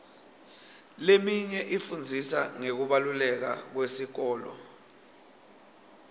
leminye ifundzisa ngekubaluleka kwesikole